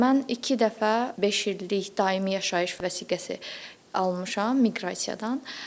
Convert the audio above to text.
Mən iki dəfə beş illik daimi yaşayış vəsiqəsi almışam Miqrasiyadan.